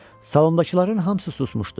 Salondakıların hamısı susmuşdu.